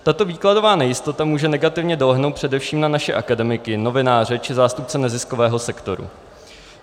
Tato výkladová nejistota může negativně dolehnout především na naše akademiky, novináře či zástupce neziskového sektoru.